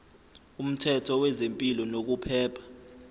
umthetho wezempilo nokuphepha